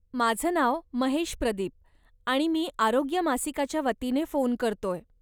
माझं नाव महेश प्रदीप आणि मी आरोग्य मासिकाच्या वतीने फोन करतोय.